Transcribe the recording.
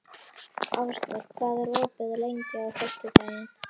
Ásdór, hvað er opið lengi á föstudaginn?